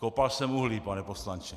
Kopal jsem uhlí, pane poslanče.